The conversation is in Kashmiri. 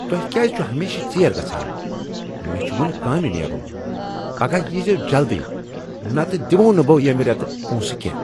تۄہہ کیٛاز چھوٕ ہمیشہٕ ژیر گژھان؟ مےٚ چھ وۄنۍ کامہِ نیرن! پگاہ ییہ زٮ۪وٕ جلدی نتہٕ دمووٕ نہٕ بہٕ ییٚمہ رٮ۪تہٕ پونٛسہٕ کٮ۪نٛہہ۔